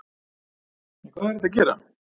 En hvað er hægt að gera?